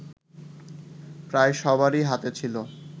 প্রায় সবারই হাতে ছিল